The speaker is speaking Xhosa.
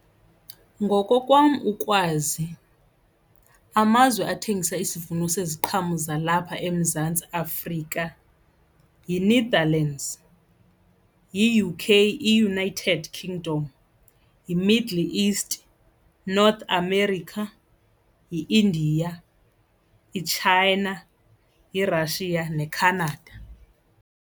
Ngokokwam ukwazi amazwe athengisa isivuno seziqhamo zalapha eMzantsi Afrika yiNetherlands, i-U_K iUnited Kingdom, yiMiddle East, North America yi-India, iChina, iRussia neCanada.